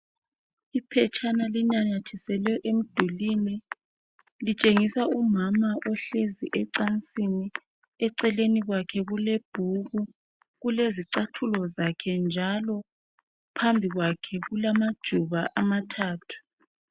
Iphetshana linanyathiselwe emdulini litshengisa umama ohlezi ecansini eceleni kwakhe kule bhuku kulezicathulo zakhe njalo phambi kwakhe kulamajuba amathathu .